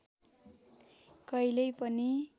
कहिल्यै पनि